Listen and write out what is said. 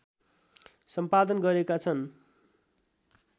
सम्पादन गरेका छन्